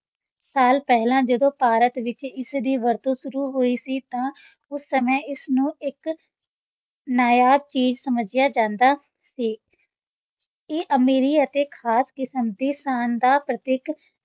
ਸਾਲ ਪਹਿਲਾਂ ਜਦੋਂ ਭਾਰਤ ਵਿੱਚ ਇਸ ਦੀ ਵਰਤੋਂ ਸ਼ੁਰੂ ਹੋਈ ਸੀ ਤਾਂ ਉਸ ਸਮੇਂ ਇਸ ਨੂੰ ਇੱਕ ਨਾਯਾਬ ਚੀਜ਼ ਸਮਝਿਆ ਜਾਂਦਾ ਸੀ ਇਹ ਅਮੀਰੀ ਅਤੇ ਖ਼ਾਸ ਕਿਸਮ ਦੀ ਸ਼ਾਨ ਦਾ ਪ੍ਰਤੀਕ